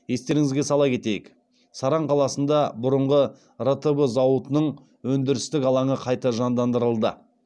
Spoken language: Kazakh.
естеріңізге сала кетейік саран қаласында бұрынғы ртб зауытының өндірістік алаңы қайта жандандырылды